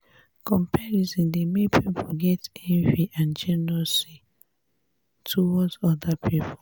comparison dey make pipo get envy and jealously towards oda pipo